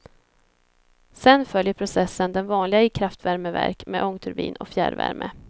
Sen följer processen den vanliga i kraftvärmeverk med ångturbin och fjärrvärme.